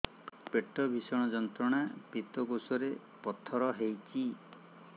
ପେଟ ଭୀଷଣ ଯନ୍ତ୍ରଣା ପିତକୋଷ ରେ ପଥର ହେଇଚି